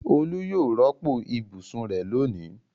Olú yóò rọ́pò ibùsùn rẹ̀ lónìí.